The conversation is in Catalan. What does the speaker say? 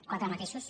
quatre matisos